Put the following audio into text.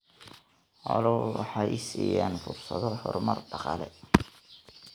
Xooluhu waxay siinayaan fursado horumar dhaqaale.